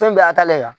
Fɛn in bɛɛ y'a ta dɛ